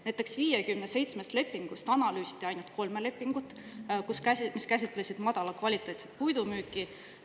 Näiteks 57 lepingust analüüsiti ainult kolme lepingut, mis käsitlesid madala kvaliteediga puidu müüki.